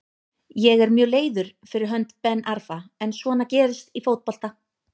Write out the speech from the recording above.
Ég er mjög leiður fyrir hönd Ben Arfa en svona gerist í fótbolta.